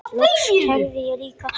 Loks kærði ég líka.